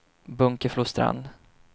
Bunkeflostrand